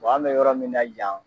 an bɛ yɔrɔ min na yan